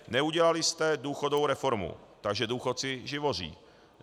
Neudělali jste důchodovou reformu, takže důchodci živoří.